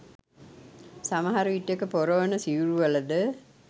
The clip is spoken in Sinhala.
සමහර විටෙක පොරවන සිවුරුවලද